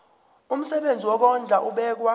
umsebenzi wokondla ubekwa